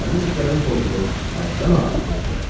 Mənim işlərim pozulub, həddən artıq pozulub.